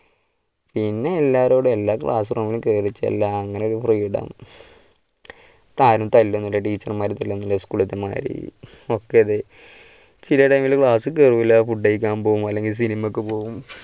പിന്നെ എല്ലാവരോടും എല്ലാ class room ലും കേറിച്ചെല്ലുക അങ്ങനെ ഒര് freedom ആരും തല്ലു ഒന്നുമില്ല teacher മാരെ തല്ലുവോന്നുമില്ല സ്കൂളിലത്തെമാരി ചിലയിടങ്ങളിലെ class ൽ കേറുകില്ല food കഴിക്കാൻ പോകും അല്ലെങ്കിൽ സിനിമയ്ക്ക് പോകും.